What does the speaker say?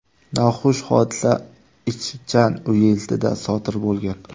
Noxush hodisa Ichjan uyezdida sodir bo‘lgan.